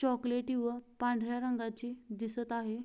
चॉकलेटी व पांढऱ्या रंगाची दिसत आहे.